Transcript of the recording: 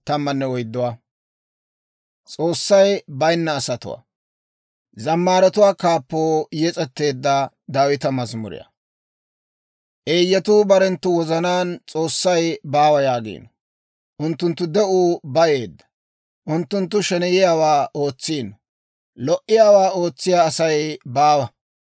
Eeyyatuu barenttu wozanaan, «S'oossay baawa» yaagiino. Unttunttu de'uu bayeedda. Unttunttu sheneyiyaawaa ootsiino; lo"iyaawaa ootsiyaa Asay baawa.